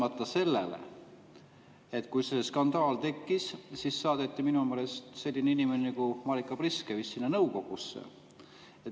Aga ometi, kui see skandaal tekkis, siis saadeti minu meelest selline inimene nagu Marika Priske sinna nõukogusse.